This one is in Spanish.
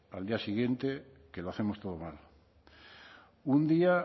al día siguiente que lo hacemos todo mal un día